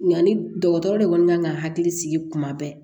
Yanni dɔgɔtɔrɔ de kɔni kan ka hakili sigi kuma bɛɛ